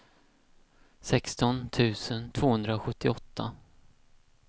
sexton tusen tvåhundrasjuttioåtta